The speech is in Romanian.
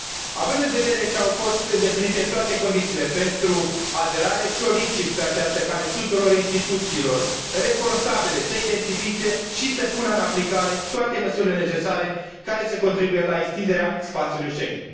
Având în vedere că au fost îndeplinite toate condițiile pentru aderare, solicit, pe această cale, tuturor instituțiilor responsabile să identifice și să pună în aplicare toate măsurile necesare care să contribuie la extinderea spațiului Schengen.